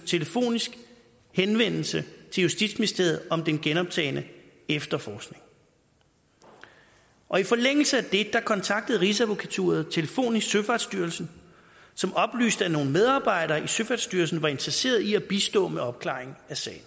telefonisk henvendelse til justitsministeriet om den genoptagne efterforskning og i forlængelse af det kontaktede rigsadvokaturen telefonisk søfartsstyrelsen som oplyste at nogle medarbejdere i søfartsstyrelsen var interesserede i at bistå med opklaring af sagen